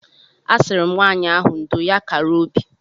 A sịrị m nwaanyị ahụ ndo; ya kara obi.